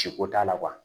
Ci ko t'a la kuwa